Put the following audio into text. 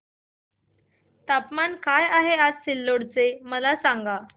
तापमान काय आहे आज सिल्लोड चे मला सांगा